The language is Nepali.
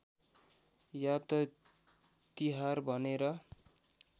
यात तिहार भनेर